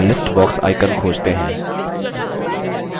अपना list box icon खोजते हैं